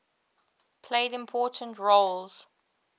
played important roles